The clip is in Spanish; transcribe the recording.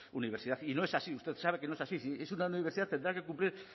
universidad y no es así usted sabe que no es así si es una universidad tendrá que cumplir